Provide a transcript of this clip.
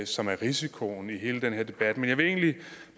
som er risikoen i hele den her debat men jeg vil egentlig